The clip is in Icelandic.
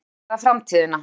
Toppliðin ræða framtíðina